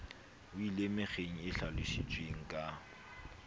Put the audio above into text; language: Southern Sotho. weleng mekgeng e hlalositsweng ka